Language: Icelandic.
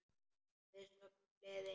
Við söfnum liði.